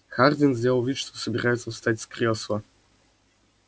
хардин сделал вид что собирается встать с кресла